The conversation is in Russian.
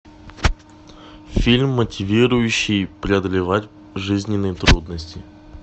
фильм мотивирующий преодолевать жизненные трудности